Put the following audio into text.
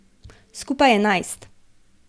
Skupaj enajst.